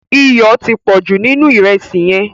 Iyọ̀ ti pọ̀jù nínú ìrẹsì yẹn.